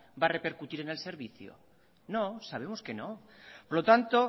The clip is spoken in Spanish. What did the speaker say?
va a repercutir en el servicio no sabemos que no por lo tanto